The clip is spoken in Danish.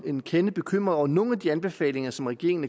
en kende bekymret over nogle af de anbefalinger som regeringen